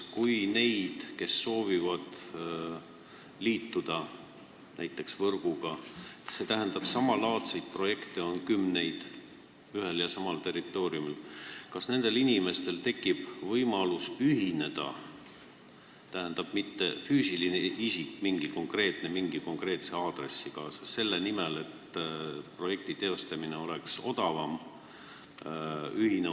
Kui samalaadseid projekte on ühel ja samal territooriumil kümneid, kas siis nendel inimestel, kes soovivad näiteks võrguga liituda, tekib võimalus ühineda – ma ei mõtle ühte konkreetset füüsilist isikut mingi konkreetse aadressiga – selle nimel, et projekti teostamine oleks odavam?